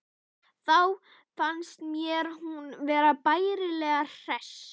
Þá fannst mér hún vera bærilega hress.